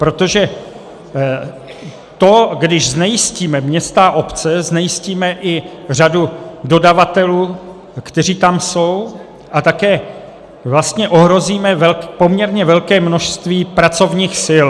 Protože to, když znejistíme města a obce, znejistíme i řadu dodavatelů, kteří tam jsou, a také vlastně ohrozíme poměrně velké množství pracovních sil.